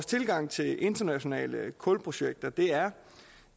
tilgang til internationale kulprojekter er